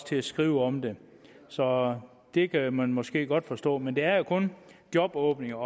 til at skrive om det så det kan man måske godt forstå men det er kun jobåbninger